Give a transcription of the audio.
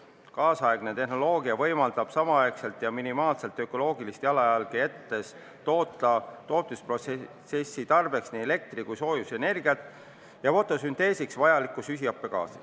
Nüüdisaegne tehnoloogia võimaldab samal ajal ja minimaalset ökoloogilist jalajälge jättes toota tootmisprotsessi tarbeks nii elektri- kui ka soojusenergiat ja fotosünteesiks vajalikku süsihappegaasi.